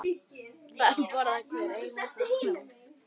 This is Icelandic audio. Þar brosir hver einasta snót.